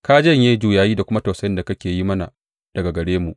Ka janye juyayi da kuma tausayin da kake yi mana daga gare mu.